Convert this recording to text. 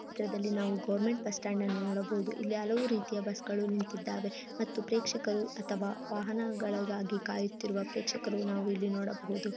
ಚಿತ್ರದಲ್ಲಿ ನಾವು government bus stand ಅನ್ನು ನೋಡಬಹುದು. ಇಲ್ಲಿ ಹಲವು ರೀತಿಯ ಬಸ್ ಗಳು ನಿಂತಿದ್ದಾವೆ. ಮತ್ತು ಪ್ರೇಕ್ಷಕರು ಅಥವಾ ವಾಹನಗಳಿಗಾಗಿ ಕಾಯುತ್ತಿರುವ ಪ್ರೇಕ್ಷಕರು ನಾವು ಇಲ್ಲಿ ನೋಡಬಹುದು.